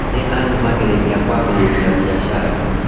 Nĩ anyumagĩrĩrĩa kwambĩrĩria biacara.